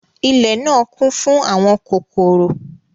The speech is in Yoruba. Ìlẹ náa kun fun àwọn kokoro.